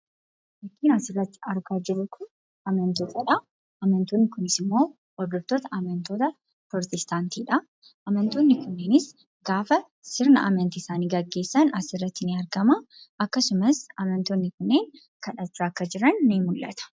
Fakkiin asii gaditti argaa jirru kun amantoota. Amantoonni kunis immoo hordoftoota amantii pirootestaantiidha. Amantoonni kunneenis gaafa sirna amantii isaanii gaggeessan asirratti ni argama. Akkasumas amantoonni kun kadhachaa akka jiran ni mul'ata.